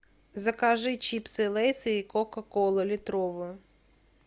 закажи чипсы лейс и кока колу литровую